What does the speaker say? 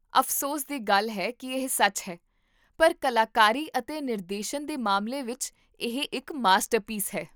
ਅਫ਼ਸੋਸ ਦੀ ਗੱਲ ਹੈ ਕੀ ਇਹ ਸੱਚ ਹੈ, ਪਰ ਕਲਾਕਾਰੀ ਅਤੇ ਨਿਰਦੇਸ਼ਨ ਦੇ ਮਾਮਲੇ ਵਿੱਚ, ਇਹ ਇੱਕ ਮਾਸਟਰਪੀਸ ਹੈ